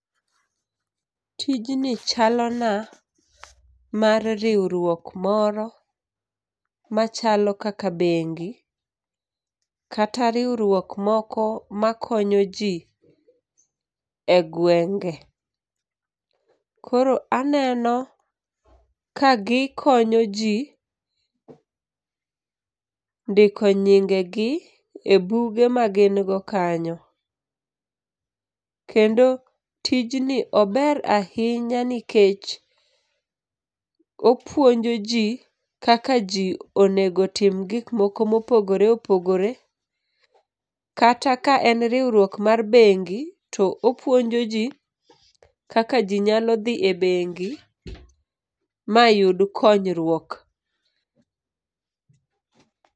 Tijni chalona mar riwruok moro machalo kaka bengi, kata riwruok moko makonyo jii e gwenge. Koro anenoka gikonyo jii ndiko nyinge gi e buge magingo kanyo. Kendo tijni ober ahinya nikech opuonjo jii kaka jii onego tim gikmoko mopogore opogore, kata ka en riwruok mar bengi to opuonji jii kaka jii nyalo dhi e bengi mayud konywuok.